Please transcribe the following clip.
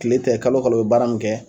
Tile tɛ kalo kalo u bɛ baara min kɛ